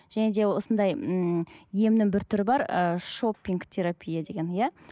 және де осындай м емнің бір түрі бар ы шопинг терапия деген иә